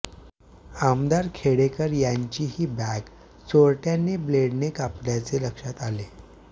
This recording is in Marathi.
आमदार खेडेकर यांचीही बॅग चोरट्यांनी ब्लेडने कापल्याचे लक्षात आले